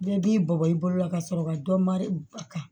Bɛɛ b'i bugɔ i bolo la ka sɔrɔ ka dɔ mari a kan